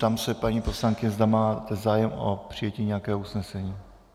Ptám se paní poslankyně, zda má zájem o přijetí nějakého usnesení.